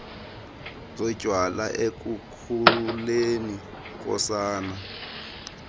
zotywala ekukhuleni kosana